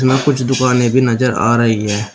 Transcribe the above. कुछ दुकानें भी नजर आ रही हैं।